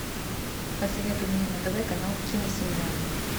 посоветуй мне на тв канал киносемья